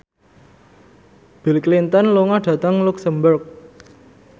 Bill Clinton lunga dhateng luxemburg